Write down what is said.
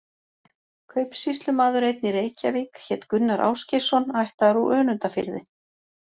Kaupsýslumaður einn í Reykjavík hét Gunnar Ásgeirsson, ættaður úr Önundarfirði.